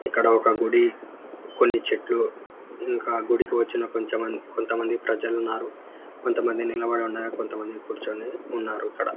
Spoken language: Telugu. ఇక్కడ ఒక గుడి కొని చెట్లు ఇంకా గుడి వచ్చి కొంతమంది ప్రజలు ఉన్నారు కుంత నిల్లబడి ఉన్నారు కుంత మంది కూర్చొని ఉన్నారు ఇక్కడ.